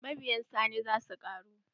Mabiyan Sani za su ƙaru.